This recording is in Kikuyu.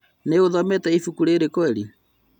Nĩũthomete ibuku rĩrĩ kweri?